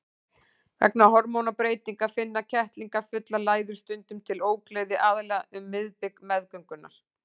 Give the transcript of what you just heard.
Vegna hormónabreytinga finna kettlingafullar læður stundum til ógleði, aðallega um miðbik meðgöngunnar.